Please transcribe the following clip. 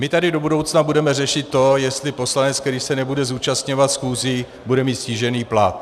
My tady do budoucna budeme řešit to, jestli poslanec, který se nebude zúčastňovat schůzí, bude mít snížený plat.